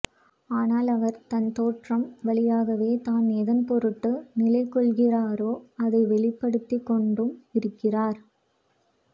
ஆனால் அவர் தன் தோற்றம் வழியாகவே தான் எதன்பொருட்டு நிலைகொள்கிறாரோ அதை வெளிப்படுத்திக்கொண்டும் இருக்கிறார்